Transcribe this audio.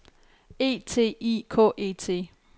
E T I K E T